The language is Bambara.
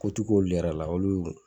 Ko ti kun olu yɛrɛ la olu